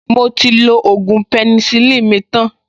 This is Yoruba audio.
Mo ti lo ògùn penicillin mi tan